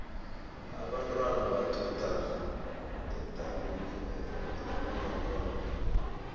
abentwana baduda edamini elinenyoka